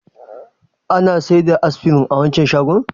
Ana sayar da Aspirin a wancan shagon?